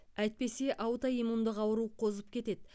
әйтпесе аутоиммундық ауру қозып кетеді